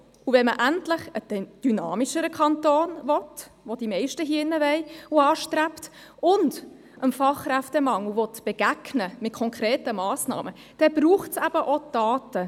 Will man endlich einen dynamischeren Kanton, was die meisten hier im Saal wollen und anstreben, und will man dem Fachkräftemangel mit konkreten Massnahmen begegnen, dann braucht es auch Daten.